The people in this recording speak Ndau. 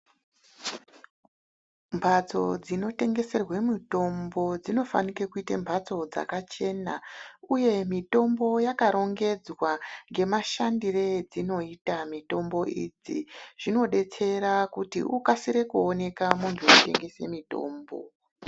Mphatso dzinotengeserwe mitombo dzinofanike kuite mphatso dzakachena, uye mitombo yakarongedzwa ngemashandire edzinoita mitombo idzi, zvinodetsera kuti ukasire kuoneka munthu unotengesa mutombo.